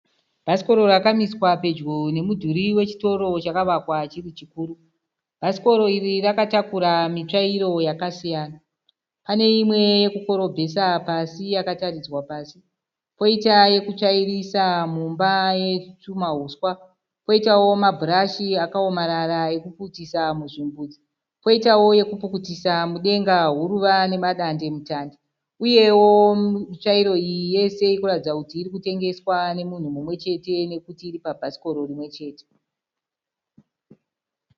Bhasikoro rakamiswa pedyo nemudhuri wechitoro chakavakwa chiri chikuru. Bhasikoro iri rakatakura mitsvairo yakasiyana. Pane imwe yokukorobhesa pasi yakataridzwa pasi, poita yokutsvairisa mumba yetwumahuswa, poitawo mabhurashi akaomarara okupukutisa zvimbuzi, poitawo yokupukutisa mudenga huruva nemadande- mutande uyewo mitsvairo iyi yese iri kuratidza kuti iri kutengeswa nemunhu mumwechete nokuti iri pabhasikoro rimwechete.